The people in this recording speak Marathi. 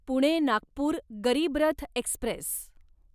पुणे नागपूर गरीब रथ एक्स्प्रेस